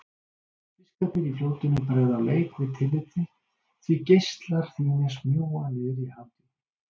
Fiskarnir í fljótinu bregða á leik við tillit þitt, því geislar þínir smjúga niðrí hafdjúpin.